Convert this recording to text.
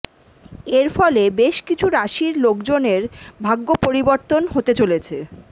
এর ফলে বেশকিছু রাশির লোকজনের ভাগ্য পরিবর্তন হতে চলেছে